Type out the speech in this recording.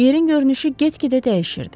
Yerin görünüşü get-gedə dəyişirdi.